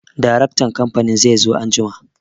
Daraktan kamfanin zai zo anjima.